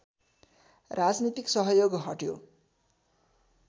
राजनीतिक सहयोग हट्यो